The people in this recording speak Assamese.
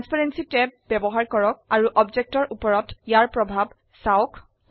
ট্ৰান্সপেৰেন্সী ট্যাব ব্যবহাৰ কৰক আৰু বস্তুৰ উপৰত তাৰ প্ৰভাব চাওক